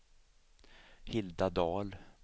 Hilda Dahl